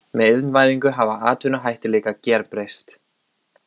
Með iðnvæðingu hafa atvinnuhættir líka gerbreyst.